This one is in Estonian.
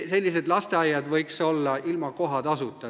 Sellised lasteaiad võiksid olla ilma kohatasuta.